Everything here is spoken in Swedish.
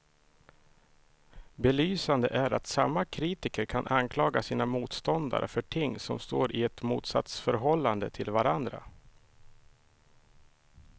Belysande är att samma kritiker kan anklaga sina motståndare för ting som står i ett motsatsförhållande till varandra.